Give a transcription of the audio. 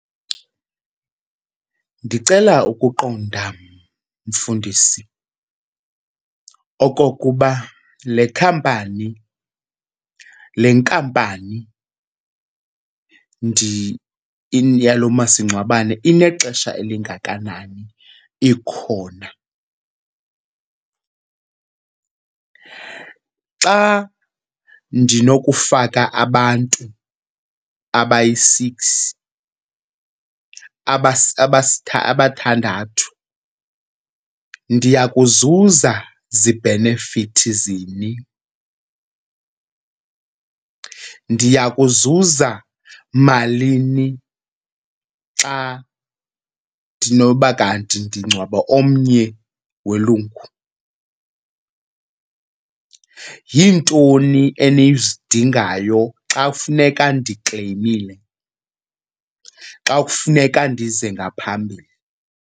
Ndicela ukuqonda mfundisi okokuba le khampani, le nkampani yalo masingcwabane inexesha elingakanani ikhona. Xa ndinokufaka abantu abayi-six abathandathu ndiya kuzuza zibhenefithi zini, ndiya kuzuza malini xa ndinoba kanti ndingcwaba omnye welungu? Yintoni enizidingayo xa kufuneka ndikleyimile, xa kufuneka ndize ngaphambili?